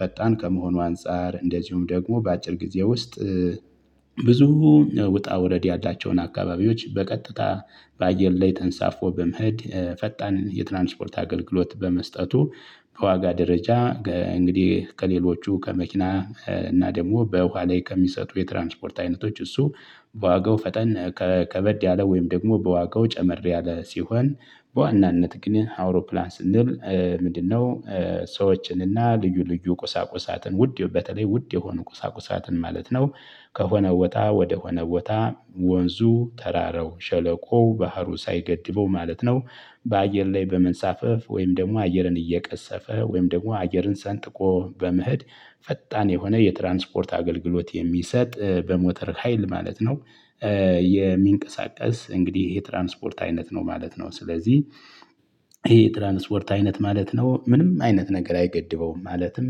ፈጣን ከመሆኑ አንፃር እንደዚሁም ደግሞ በአጭር ጊዜ ውስጥ ብዙ ውጣ ውረድ ያላቸውን አካባቢዎች በቀጥታ በአየር ላይ ተንሳፎ በመሄድ ፈጣን የትራንስፖርት አገልግሎት በመስጠቱ በዋጋ ደረጃ እንግዲህ ከሌሎቹ ከመኪና እና ደግሞ በውሃ ላይ ከሚሰጡ የትራንስፖርት አይነቶች እሱ በዋጋው ፈጠን ከበድ ያለ ወይም ደግሞ በዋጋው ጨመር ያለ ሲሆን በዋናነት ግን አውሮፕላን ስንል ምንድነው? ሰዎችንና ልዩ ልዩ ቁሳቁሳትን ውድ በተለይ ውድ የሆኑ ቁሳቁሳትን ማለት ነው። ከሆነ ቦታ ወደ ሆነ ቦታ ወንዙ ተራረው ሸለቆው ባህሩ ሳይገድበው ማለት ነው። በአየር ላይ በመንሳፈፍ ወይም ደግሞ አየርን እየቀሰፈ ወይም ደግሞ አየርን ሰንጥቆ በመሄድ ፈጣን የሆነ የትራንስፖርት አገልግሎት የሚሰጥ በሞተር ሀይል ማለት ነው። የሚንቀሳቀስ እንግዲህ ይሄ ትራንስፖርት አይነት ነው ማለት ነው። ስለዚህ ይሄ ትራንስፖርት አይነት ማለት ነው ምንም አይነት ነገር አይገድበውም ማለትም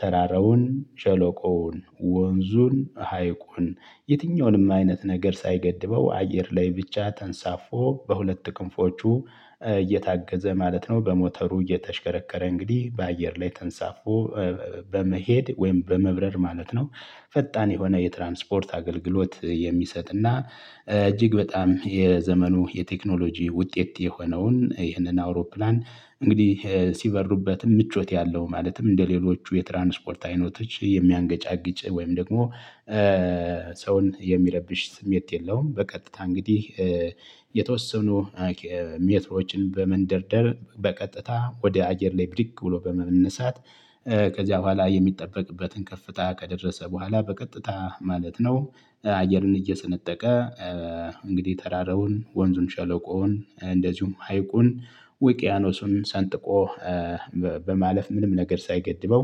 ተራራውን ሸለቆውን ወንዙን ሀይቁን የትኛውንም አይነት ነገር ሳይገድበው አየር ላይ ብቻ ተንሳፎ በሁለት ክንፎቹ እየታገዘ ማለት ነው። በሞተሩ እየተሽከረከረ እንግዲህ በአየር ላይ ተንሳፎ በመሄድ ወይም በመብረር ማለት ነው። ፈጣን የሆነ የትራንስፖርት አገልግሎት የሚሰጥና እጅግ በጣም የዘመኑ የቴክኖሎጂ ውጤት የሆነውን ይህንን አውሮፕላን እንግዲህ ሲበሩበትም ምቾት ያለው ማለትም እንደሌሎቹ የትራንስፖርት አይነቶች የሚያንገጫግጭ ወይም ደግሞ ሰውን የሚረብሽ ስሜት የለውም። በቀጥታ እንግዲህ የተወሰኑ ሜትሮችን በመንደርደር በቀጥታ ወደ አየር ላይ ብድግ ብሎ በመነሳት ከዚያ በኋላ የሚጠበቅበትን ከፍታ ከደረሰ በኋላ በቀጥታ ማለት ነው። አየርን እየሰነጠቀ እንግዲህ ተራረውን ወንዙን ሸለቆውን እንደዚሁም ሀይቁን ውቅያኖሱን ሰንጥቆ በማለፍ ምንም ነገር ሳይገድበው።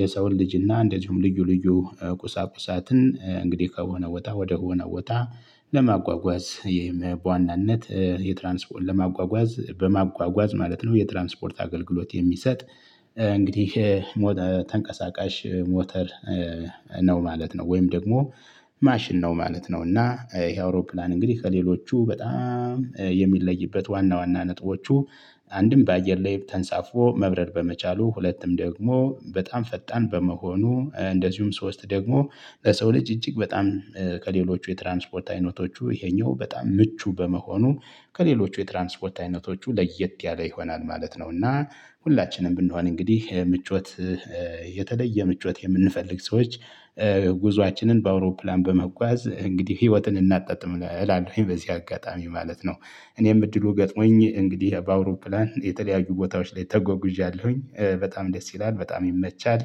የሰውን ልጅና እንደዚሁም ልዩ ልዩ ቁሳቁሳትን እንግዲህ ከሆነ ቦ ወደሆነ ቦታ ለማጓጓዝ ይህም በዋናነት የትራንስፖርት ለማጓጓዝ በማጓጓዝ ማለት ነው የትራንስፖርት አገልግሎት የሚሰጥ። እንግዲህ ተንቀሳቃሽ ሞተር ነው ማለት ነው። ወይም ደግሞ ማሽን ነው ማለት ነው። እና ይሄ አውሮፕላን እንግዲህ ከሌሎቹ በጣም የሚለይበት ዋና ዋና ነጥቦቹ አንድም በአየር ላይ ተንሳፍፎ መብረር በመቻሉ ሁለትም ደግሞ በጣም ፈጣን በመሆኑ እንደዚሁም ሶስት ደግሞ ለሰው ልጅ እጅግ በጣም ከሌሎቹ የትራንስፖርት አይነቶቹ ይሄኛው በጣም ምቹ በመሆኑ ከሌሎች የትራንስፖርት አይነቶቹ ለየት ያለ ይሆናል ማለት ነው። እና ሁላችንም ብንሆን እንግዲህ ምቾት የተለየ ምቾት የምንፈልግ ሰዎች ጉዞአችንን በአውሮፕላን በመጓዝ እንግዲህ ህይወትን እናጣጥም እላለሁኝ በዚህ አጋጣሚ ማለት ነው። እኔም እድሉ ገጥሞኝ እንግዲህ በአውሮፕላን የተለያዩ ቦታዎች ላይ ተጓጉዣለሁኝ በጣም ደስ ይላል በጣም ይመቻል።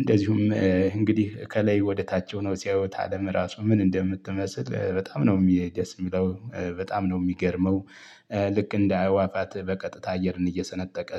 እንደዚሁም እንግዲህ ከላይ ወደ ታች ሆነው ሲያዩት አለም እራሱ ምን እንደምትመስል በጣም ነው ደስ የሚለው በጣም ነው የሚገርመው። ልክ እንደ አህዋፋት በቀጥታ አየርን እየሰነጠቀ